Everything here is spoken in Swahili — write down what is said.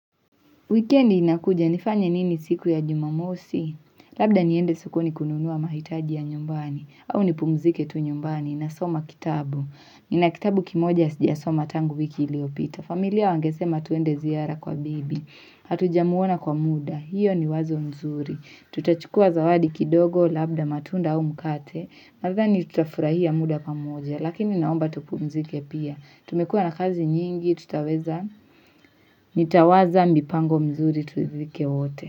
Wikendi inakuja, nifanye nini siku ya jumamosi? Labda niende sokoni kununua mahitaji ya nyumbani, au nipumzike tu nyumbani, nasoma kitabu. Nina kitabu kimoja sijasoma tangu wiki iliyopita. Familia wangesema twende ziara kwa bibi. Hatujamuona kwa muda, hiyo ni wazo nzuri. Tutachukua zawadi kidogo, labda matunda au mkate. Nadhani tutafurahia muda pamoja, lakini naomba tupumzike pia. Tumekuwa na kazi nyingi, tutaweza. Nitawaza mipango mizuri turidhike wote.